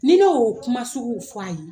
Ni ne y'o kuma suguw fɔ a ye